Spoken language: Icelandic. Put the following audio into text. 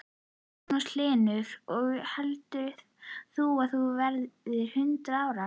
Magnús Hlynur: Og heldur þú að þú verðir hundrað ára?